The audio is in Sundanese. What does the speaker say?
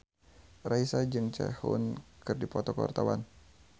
Raisa jeung Sehun keur dipoto ku wartawan